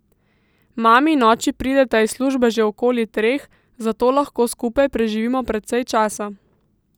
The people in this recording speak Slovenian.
Mami in oči prideta iz službe že okoli treh, zato lahko skupaj preživimo precej časa.